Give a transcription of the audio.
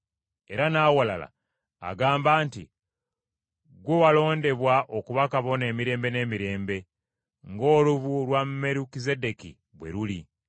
Era n’awalala agamba nti, “Ggwe walondebwa okuba Kabona emirembe n’emirembe, ng’olubu lwa Merukizeddeeki bwe luli.”